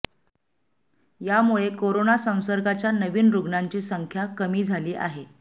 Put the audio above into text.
यामुळे करोना संसर्गाच्या नवीन रुग्णांची संख्या कमी झाली आहे